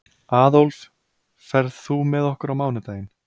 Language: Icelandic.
Aðólf, ferð þú með okkur á mánudaginn?